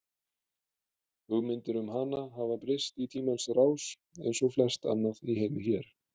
Hugmyndir um hana hafa breyst í tímans rás eins og flest annað í heimi hér.